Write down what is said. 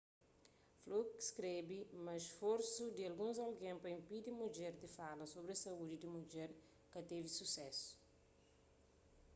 fluke skrebe ma sforsu di alguns algen pa inpidi mudjer di fala sobri saúdi di mudjer ka tevi susésu